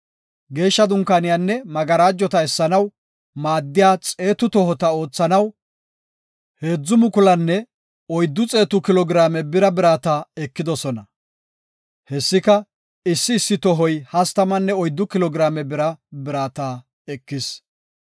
Geeshsha Dunkaaniyanne magarajota essanaw maaddiya xeetu tohota oothanaw 3,400 kilo giraame bira birata ekidosona. Hessika, issi issi tohoy hastamanne oyddu kilo giraame bira birata ekis.